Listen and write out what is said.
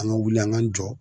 An ka wuli an ka jɔ.